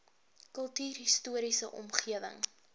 kultuurhis toriese omgewing